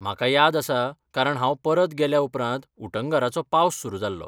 म्हाका याद आसा, कारण हांव परत गेल्याउपरांत उटंगारांचो पावस सुरू जाल्लो.